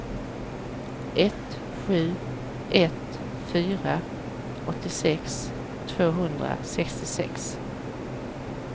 ett sju ett fyra åttiosex tvåhundrasextiosex